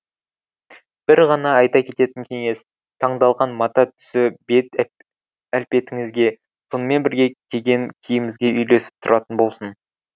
бір ғана айта кететін кеңес таңдалған мата түсі бет әлпетіңізге сонымен бірге киген киіміңізге үйлесіп тұратын болсын